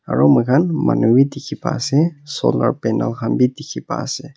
aru moikhan manu bhi dikhi pa ase solar panel khan bhi dikhi pa ase.